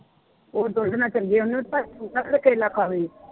ਉਹ ਦੁੱਧ ਨਾਲ ਚੰਗੇ ਹੁੰਦੇ ਕੇਲਾ ਖਾਵੇ।